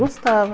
Gostava.